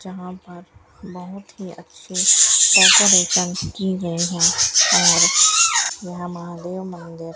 जहां पर बहोत हि अच्छी डेकोरेशन कियी गई हैं और यहाँ महादेव मंदिर --